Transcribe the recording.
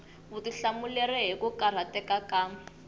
vutihlamuleri hi ku karhateka ka